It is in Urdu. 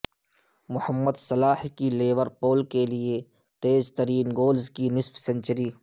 محمد صلاح کی لیور پول کیلئے تیز ترین گولز کی نصف سنچری